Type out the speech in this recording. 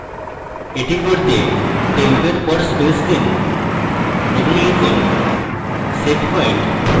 এটি করতে temp এর পর space দিন এবং লিখুন setpoint